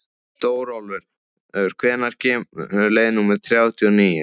Stórólfur, hvenær kemur leið númer þrjátíu og níu?